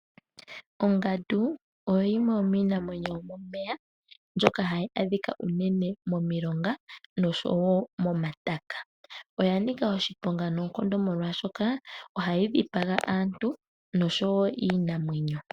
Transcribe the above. Ongandu oyo yimwe yomiinamwenyo yomomeya mbyoka hayi adhika unene momilonga noshowo momataka oya Nika oshiponga noonkondo molwashoka ohayi dhipaga aantu noshowo iinamwenyo.